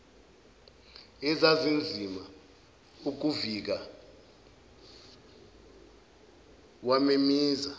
ezazizama ukuvika wamemezisa